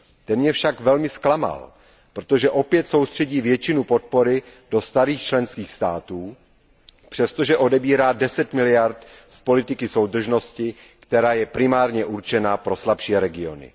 Ten mě však velmi zklamal, protože opět soustředí většinu podpory do starých členských států, přestože odebírá 10 miliard z politiky soudržnosti, která je primárně určena pro slabší regiony.